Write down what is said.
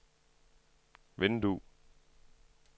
vindue